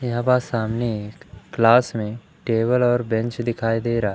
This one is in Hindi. यहां बस सामने एक क्लास में टेबल और बेंच दिखाई दे रहा--